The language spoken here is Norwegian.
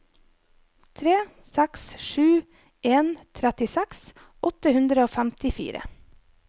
tre seks sju en trettiseks åtte hundre og femtifire